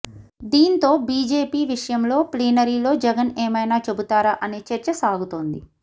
దీంతో బిజెపి విషయంలో ప్లీనరీలో జగన్ ఏమైనా చెబుతారా అనే చర్చ సాగుతోంది